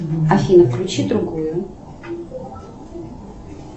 афина включи другую